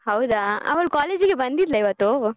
ಹೌದ ಅವಳು college ಗೆ ಬಂದಿದ್ಲ ಇವತ್ತು?